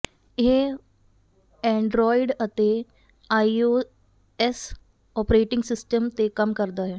ਇਹ ਐਂਡਰੌਇਡ ਅਤੇ iOS operating system ਤੇ ਕੰਮ ਕਰਦਾ ਹੈ